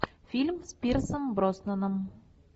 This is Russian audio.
фильм с пирсом броснаном